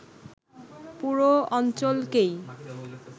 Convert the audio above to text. পুরো অঞ্চলকেই